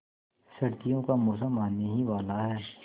सर्दियों का मौसम आने ही वाला है